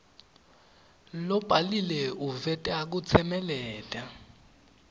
lobhaliwe uveta kutsemeleta